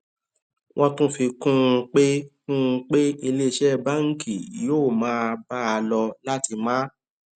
wọn tún fi kún un pé kún un pé ilé iṣẹ báńkì yóò máa bá a lọ láti máa